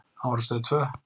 Hann var á Stöð tvö.